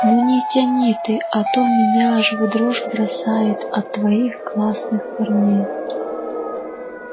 ну не тяни ты а то меня аж в дрожь бросает от твоих классных парней